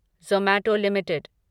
Zomato limited